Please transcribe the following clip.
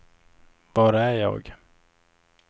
var är jag